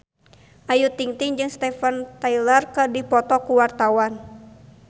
Ayu Ting-ting jeung Steven Tyler keur dipoto ku wartawan